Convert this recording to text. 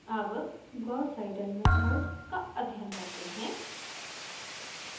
अब gauss seidel method का अध्ययन करते हैं